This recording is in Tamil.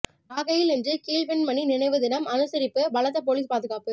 நாகையில் இன்று கீழ்வெண்மணி நினைவு தினம் அனுசரிப்பு பலத்த போலீஸ் பாதுகாப்பு